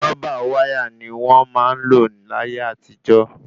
Rúbà wáyà ni wọ́n ńlò láyé àtijó